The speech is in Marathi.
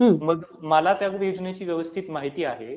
मग मला त्या योजनेची व्यवस्थित माहिती आहे